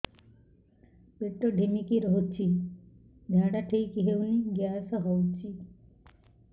ପେଟ ଢିମିକି ରହୁଛି ଝାଡା ଠିକ୍ ହଉନି ଗ୍ୟାସ ହଉଚି